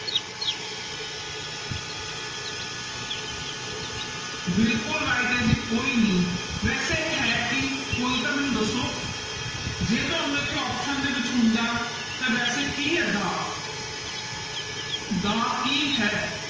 ਬਿਲਕੁਲ right ਹੈ ਜੀ ਕੋਈ ਨੀ ਵੈਸੇ ਇਹ ਹੈ ਕੀ ਕੋਈ ਤਾਂ ਮੈਨੂੰ ਦੱਸੋ, ਜੇ ਤੁਹਾਨੂੰ ਇੱਥੇ option ਦੇ ਵਿੱਚ ਹੁੰਦਾ ਤਾਂ ਵੈਸੇ ਕੀ ਹੈ ਦਾ ਦਾ ਕੀ ਹੈ?